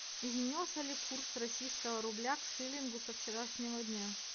изменился ли курс российского рубля к шиллингу со вчерашнего дня